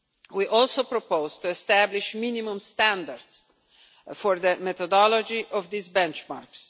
We also propose to establish minimum standards for the methodology of these benchmarks.